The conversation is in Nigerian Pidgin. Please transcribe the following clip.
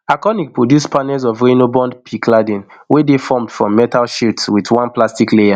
arconic produce panels of reynobond pe cladding wey dey formed from metal sheets wit one plastic layer